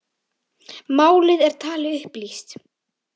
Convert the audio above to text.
Málið er talið upplýst